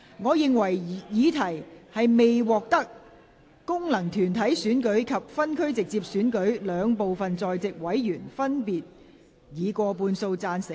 我認為議題未獲得經由功能團體選舉產生及分區直接選舉產生的兩部分在席委員，分別以過半數贊成。